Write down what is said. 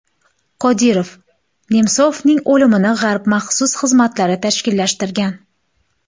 Qodirov: Nemsovning o‘limini G‘arb maxsus xizmatlari tashkillashtirgan.